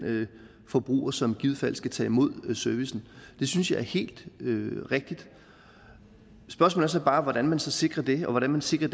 forbruger som i givet fald skal tage imod servicen synes jeg er helt rigtigt spørgsmål er så bare hvordan man sikrer det og hvordan man sikrer